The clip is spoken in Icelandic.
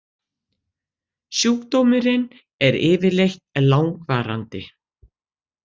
Sjúkdómurinn er yfirleitt langvarandi.